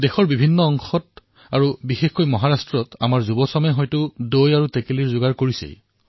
দেশৰ বিভিন্ন স্থানত বিশেষকৈ মহাৰাষ্ট্ৰত আমাৰ যুৱকসকলে হাণ্ডীৰ প্ৰস্তুতি চলাই আছে